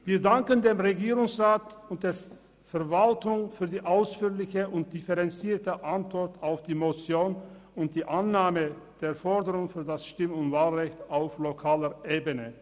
Wir danken dem Regierungsrat und der Verwaltung für die ausführliche und differenzierte Antwort auf die Motion und die Annahme der Forderung eines Stimm- und Wahlrechts auf lokaler Ebene.